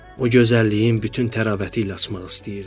O gözəlliyin bütün təravəti ilə açmaq istəyirdi.